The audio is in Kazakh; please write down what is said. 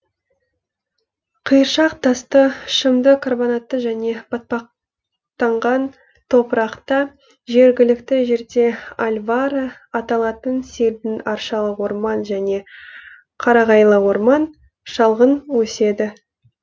қиыршақ тасты шымды карбонатты және батпақтан ған топырақта жергілікті жерде альвара аталатын селдір аршалы орман және қарағайлы орман шалғын өседі